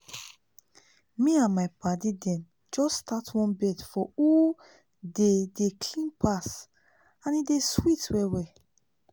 me and my padi dem just start one bet for who dey dey clean pass and e dey sweet well well